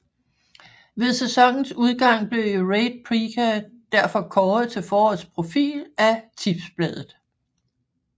Ved sæsonens udgang blev Rade Prica derfor kåret til forårets profil af Tipsbladet